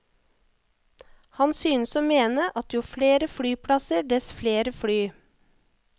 Han synes å mene at jo flere flyplasser, dess flere fly.